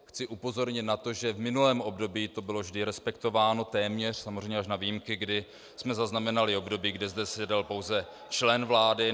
Chci upozornit na to, že v minulém období to bylo vždy respektováno, téměř, samozřejmě až na výjimky, kdy jsme zaznamenali období, kdy zde seděl pouze člen vlády.